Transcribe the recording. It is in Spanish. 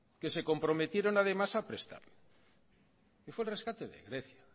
que se comprometieron además a prestar y fue el rescate de grecia